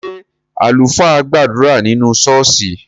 Ṣé àlùfáà gbàdúrà nínú ṣọ́ọ́ṣì?